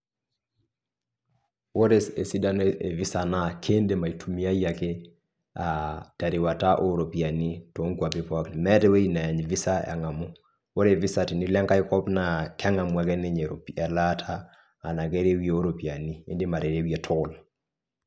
Wore esidano e visa naa kiidim aitumiyiai ake aa terewata ooropiyiani toonkuapi pookin. Meeta ewoji neany visa engamu. Wore visa tenilo ai kop naa kengamu ake ninye iropiya elaata enake woji ooropiyiani. Iindim aterewie tol.